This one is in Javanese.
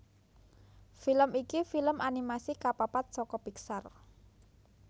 Film iki film animasi kapapat saka Pixar